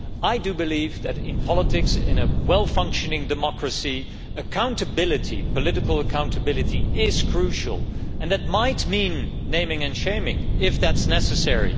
I believe that in politics in a well functioning democracy political accountability is crucial, and that might mean naming and shaming if that is necessary.